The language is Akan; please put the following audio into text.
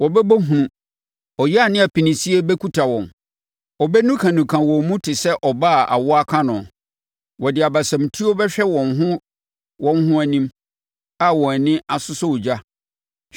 Wɔbɛbɔ hunu, ɔyea ne apinisie bɛkuta wɔn; wɔbɛnukanuka wɔn mu te sɛ ɔbaa a awoɔ aka no. Wɔde abasamutuo bɛhwɛ wɔn ho wɔn ho anim, a wɔn ani asosɔ ogya.